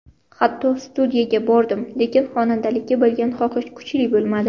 Hatto studiyaga bordim, lekin xonandalikka bo‘lgan xohish kuchli bo‘lmadi.